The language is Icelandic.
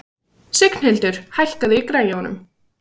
Signhildur, hækkaðu í græjunum.